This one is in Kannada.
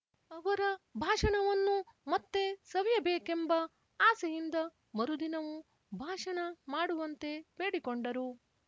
ಅವರ ಭಾಷಣವನ್ನು ಮತ್ತೆ ಸವಿಯಬೇಕೆಂಬ ಆಸೆಯಿಂದ ಮರುದಿನವೂ ಭಾಷಣ ಮಾಡುವಂತೆ ಬೇಡಿಕೊಂಡರು